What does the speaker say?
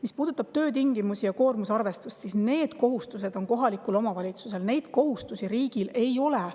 Mis puudutab töötingimusi ja koormusarvestust, siis need kohustused on kohalikul omavalitsusel, riigil neid kohustusi ei ole.